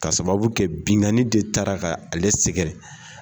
Ka sababu kɛ binkani de ta la k'ale sɛgɛrɛ.